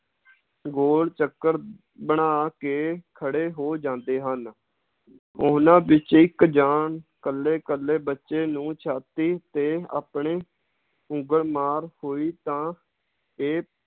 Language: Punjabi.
ਗੋਲ ਚੱਕਰ ਬਣਾ ਕੇ ਖੜੇ ਹੋ ਜਾਂਦੇ ਹਨ ਉਹਨਾਂ ਵਿਚ ਇਕ ਜਾਂ ਇਕੱਲੇ ਇਕੱਲੇ ਬੱਚੇ ਨੂੰ ਛਾਤੀ ਤੇ ਆਪਣੇ ਉਂਗਲ ਮਾਰ ਹੋਈ ਤਾਂ ਇਹ